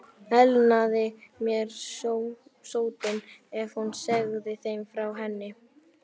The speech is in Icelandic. Elnaði mér sóttin, ef hún segði þeim frá henni?